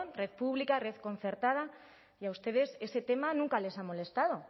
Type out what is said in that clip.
red pública red concertada y a ustedes ese tema nunca les ha molestado